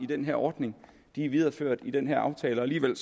den her ordning er videreført i den her aftale og alligevel